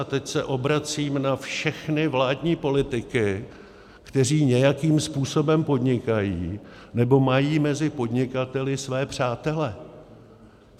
A teď se obracím na všechny vládní politiky, kteří nějakým způsobem podnikají nebo mají mezi podnikateli své přátele.